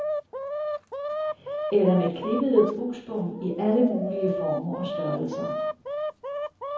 Eller med klippede buksbom i alle mulige former og størrelser.